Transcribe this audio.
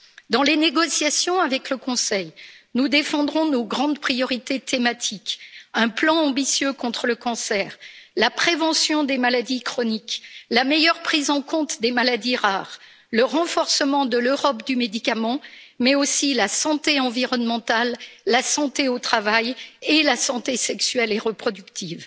Dans les négociations avec le Conseil, nous défendrons nos grandes priorités thématiques un plan ambitieux contre le cancer, la prévention des maladies chroniques, la meilleure prise en compte des maladies rares, le renforcement de l'Europe du médicament, mais aussi la santé environnementale, la santé au travail et la santé sexuelle et reproductive.